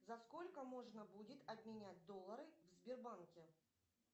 за сколько можно будет обменять доллары в сбербанке